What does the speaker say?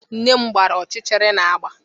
Nne m gbara ọchịchịrị na agba